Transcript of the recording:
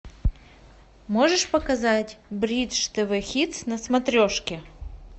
можешь показать бридж тв хитс на смотрешке